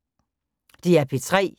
DR P3